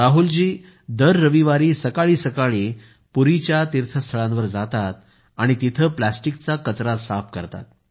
राहुल दर रविवारी सकाळी सकाळी पुरीच्या तीर्थस्थळांजवळ जातात आणि तिथे प्लास्टिकचा कचरा साफ करतात